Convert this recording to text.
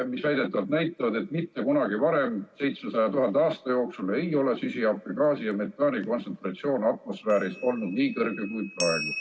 Väidetavalt need näitavad, et mitte kunagi varem 700 000 aasta jooksul ei ole süsihappegaasi ja metaani kontsentratsioon atmosfääris olnud nii kõrge kui praegu.